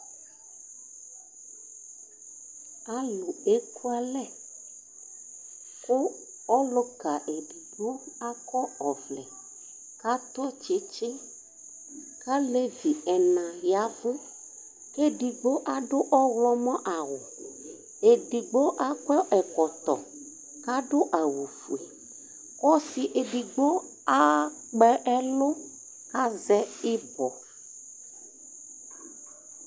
alo eku alɛ kò ɔluka edigbo akɔ ɔvlɛ k'ato tsitsi k'alevi ɛna yavu k'edigbo ado ɔwlɔmɔ awu edigbo akɔ ɛkɔtɔ k'ado awu fue k'ɔse edigbo akpɔ ɛlu k'azɛ ibɔ